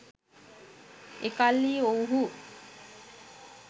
එකල්හි ඔවුුහු